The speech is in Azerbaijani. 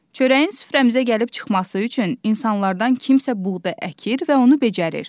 Çörəyin süfrəmizə gəlib çıxması üçün insanlardan kimsə buğda əkir və onu becərir.